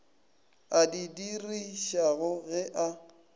a di dirišago ge a